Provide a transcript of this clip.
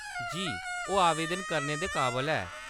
जी, ओह्‌‌ आवेदन करने दे काबल ऐ।